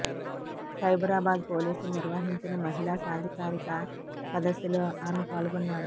సైబరాబాద్ పోలీసులు నిర్వహించిన మహిళా సాధికారిక సదస్సులో ఆమె పాల్గొన్నారు